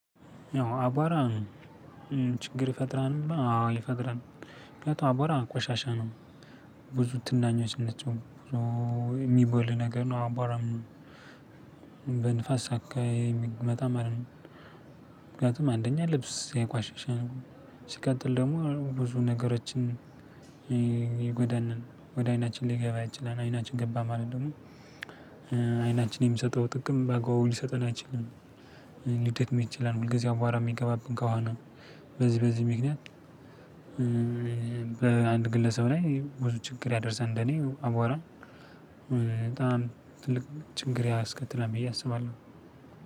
አቧራ ችግር ይፈጥራል አዎ ይፈጥራል በኋላ ቆሻሻ ነው። ብዙ ትንኞች ናቸው። የሚቦን ነገር ነው አቧራም በንፋስ አካባቢ የሚመጣ ማለት ነው። ምክንያቱም አንደኛ ልብስ ያቆሽሻል። ሲቀጥል ደግሞ ብዙ ነገሮችን ነው ወደ አይናችን ሊገባ ይችላል። አይናችን ገባ ማለት ደግሞ አይናችን የሚሰጠው ጥቅም በጎ ሊሰጠን አይችልም። መቼላለሁ ሁል ጊዜ አቧራ የሚገባብን ከሆነ። በዚህ በዚህ ምክንያት በአንድ ግለሰብ ላይ ብዙ ችግር ያደርሳል። እንደኔ አቧራ በጣም ትልቅ ችግር ያስከትላል ብዬ አስባለሁ።